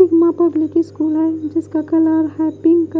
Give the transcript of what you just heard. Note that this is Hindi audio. सिग्मा पब्लिक स्कूल है जिसका कलर है पिंक